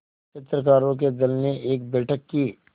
चित्रकारों के दल ने एक बैठक की